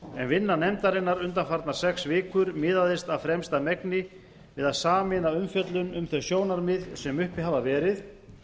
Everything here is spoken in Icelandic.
en vinna nefndarinnar undanfarnar sex vikur miðaðist af fremsta megni við að sameina umfjöllun um þau sjónarmið sem uppi hafa verið